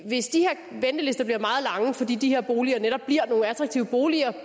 hvis de her ventelister bliver meget lange fordi de her boliger netop bliver nogle attraktive boliger